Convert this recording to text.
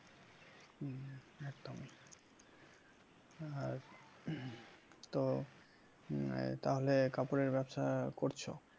আর তো তাহলে কাপড়ের ব্যবসা করছ?